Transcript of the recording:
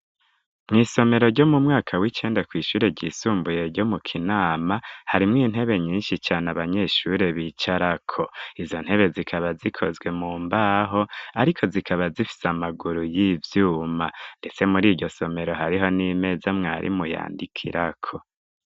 Mw'isomero ryo mu mwaka w'icende kw'ishure ryisumbuye ryo mu kinama harimwo intebe nyinshi cane abanyeshure bicarako izo ntebe zikaba zikozwe mu mbaho, ariko zikaba zifise amaguru y'ivyuma, ndetse muri iryo somero hariho n'imeza mwarimu yandikirako.